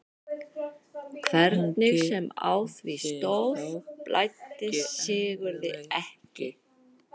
Hvernig sem á því stóð blæddi Sigurði ekki.